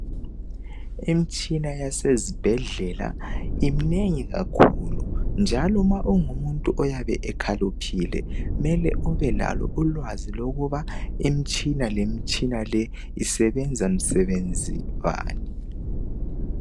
Imitshina yase zibhedlela iminengi kakhulu njalo ma ungumuntu oyabe ekhaliphile mele ubelalo ulwazi lokuba imtshina lemtshina le isebenza msebenzi bani.